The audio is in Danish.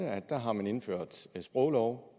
at der har man indført en sproglov